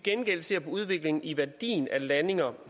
gengæld ser på udviklingen i værdien af landinger